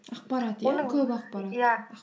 ақпарат иә оның көп ақпарат иә